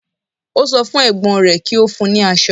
Ó sọ fún Ẹ̀gbọ́n rẹ̀ kí ó fún un ní asọ